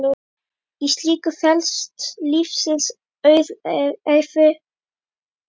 Í slíku felast lífsins auðæfi.